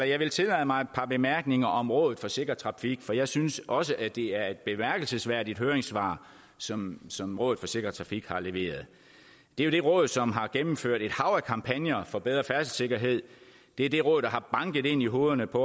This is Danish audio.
jeg vil tillade mig et par bemærkninger om rådet for sikker trafik for jeg synes også at det er et bemærkelsesværdigt høringssvar som som rådet for sikker trafik har leveret det er det råd som har gennemført et hav af kampagner for bedre færdselssikkerhed det er det råd der har banket det ind i hovedet på